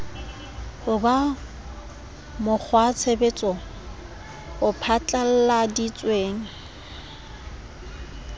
ho ba mokgwatshebetso o phatlalladitsweng